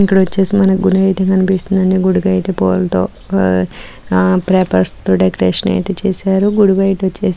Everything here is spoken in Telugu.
ఇక్కడ ఓచేసి మనకు గుడి అయితే కనిపిస్తుందండి.గుడుకైతే పుల్లతో ఉహ్ పేపర్స్ తో డెకొరేషన్ ఐతే చేసారు.గుడి బయట ఓచేసి--